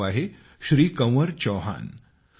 त्यांचे नाव आहे श्री कंवर चौहान